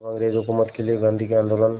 अब अंग्रेज़ हुकूमत के लिए गांधी के आंदोलन